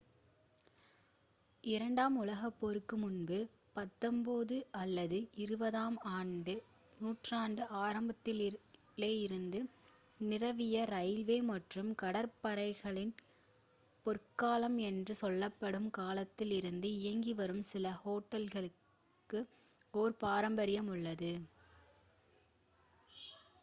இரண்டாம் உலகப் போருக்கு முன்பு 19 அல்லது 20-ஆம் நூற்றாண்டின் ஆரம்பத்தில் இருந்து நீராவி ரயில்வே மற்றும் கடல் கப்பற்களின் பொற்காலம் என்று சொல்லப்படும் காலத்தில் இருந்து இயங்கி வரும் சில ஹோட்டல்களுக்கு ஒரு பாரம்பரியம் உள்ளது